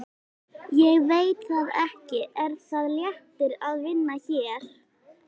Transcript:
Ég veit það ekki Er það léttir að vinna hér?